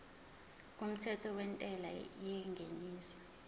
kumthetho wentela yengeniso